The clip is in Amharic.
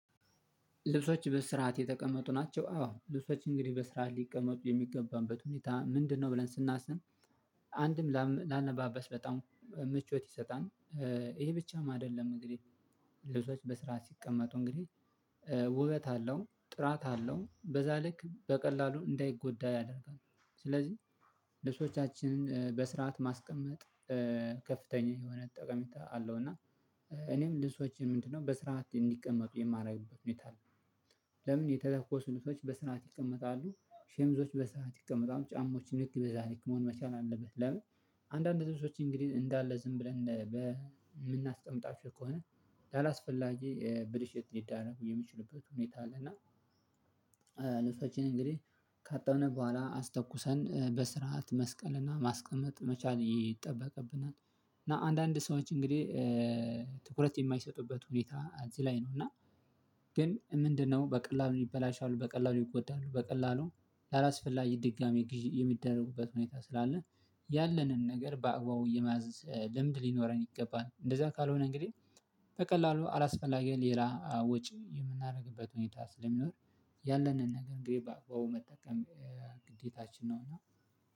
ልብሶች በስርዓት የተቀመጡ ናቸው። አዎ ልብሶች እንግዲህ በስርዓት ሊቀመጡ የሚገባበት ሁኔታ ምንድነው? ብለን ስናስን አንድም ላነባበስ በጣም ምቾት ይሰጣል። ይሄ ብቻም አይደለም እንግዲህ ልጆች በስራ ሲቀመጡ እንግዲህ ውበት አለው ጥራት አለው በዛ ልክ በቀላሉ እንዳይጎዳ ያደርጋል። ስለዚህ ልብሶቻችንን በስርዓት ማስቀመጥ ከፍተኛ የሆነ ጠቀሜታ አለው። እና እኔም ልሰዎችን ምንድነው በስርዓት እንዲቀመጡ የማደርግበት ነው የት አለው። የተተኮሱ ልጆች በስናት ይቀመጣሉ ሸምዞች በስርዓት ይቀመጣሉ ጫማዎችን ልክ በዛ ልክ መሆን አለበት ለምን? አንዳንድ ህዝቦች እንግዲህ እንዳለ ዝም ብለን በምናስቀምጣችሁ ከሆነ ላላስፈላጊ ብልሽት ሊዳረጉ የምችሉበት ሁኔታ አለ። እና ልብሶችን እንግዲህ ካጠነ በኋላ አስጠቁሰን በስርዓት መስቀልና ማስቀመጥ መቻል ይጠበቅብናል። እና አንዳንድ ሰዎች እንግዲህ ትኩረት የማይሰጡበት ሁኔታ እዚህ ላይ ነው። እና ግን ምንድነው? በቀላሉ ይበላሻሉ በቀላሉ ይጎዳሉ በቀላሉ ላላስፈላጊ ድጋሚ ግዥ የሚደረጉበት ሁኔታ ስላለ። ያለንን ነገር በአግባው የመያዝ ልምድ ሊኖረን ይገባል። እንደዛ ካልሆነ እንግዲህ በቀላሉ አላስፈላጊ ሌላ ወጪ የምናደርግበት ሁኔታ ስለሚኖር። ያለንን ነገር ግን በአባው መጠቀም ግዴታችን ነውና።